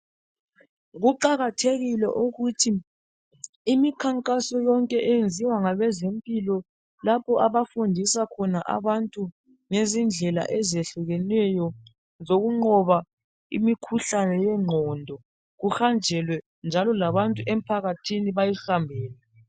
Kuqakathekile ukuthi imikhankaso yonke eyenziwa ngabezempilakahle lapho abafundisa khona abantu ngezindlela ezehlukeneyo zokunqoba imikhuhlane yengqondo kuhanjelwe njalo labantu emphakathini bayihambele.